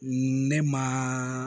Ne maa